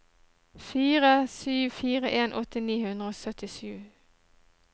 fire sju fire en åtti ni hundre og syttisju